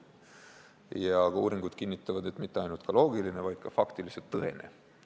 Ja uuringud kinnitavad, et mitte ainult loogiline, vaid ka faktiliselt tõene.